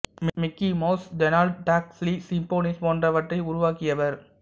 Mickey Mouse Donald Duck Silly Symphonies போன்றவற்றை உருவாக்கியவர்